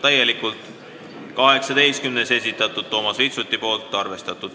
18. muudatusettepaneku on esitanud Toomas Vitsut, täielikult arvestatud.